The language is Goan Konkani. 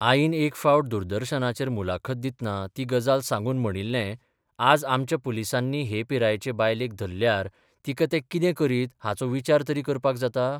आईन एक फावट दूरदर्शनाचेर मुलाखत दितना ती गजाल सांगून म्हणिल्ले आज आमच्या पुलिसांनी हे पिरायेचे बायलेक धरल्यार तिका ते कितें करीत हाचो विचार तरी करपाक जाता?